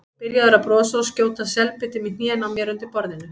Byrjaður að brosa og skjóta selbitum í hnén á mér undir borðinu.